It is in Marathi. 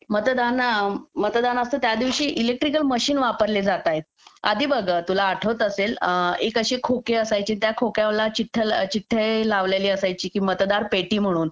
मतदान मतदानाच्या दिवशी इलेक्ट्रिकल मशीन वापरल्या जातात आधी बघ तुला आठवत असेल एक असे खोके असायचे त्या खोक्याला चिठ्ठ्या लावलेली असायची की मतदार पेटी म्हणून